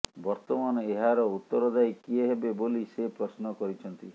ବର୍ତ୍ତମାନ ଏହାର ଉତ୍ତରଦାୟୀ କିଏ ହେବେ ବୋଲି ସେ ପ୍ରଶ୍ନ କରିଛନ୍ତି